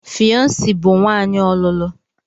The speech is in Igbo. Fiancee bụ nwanyị ọlụlụ.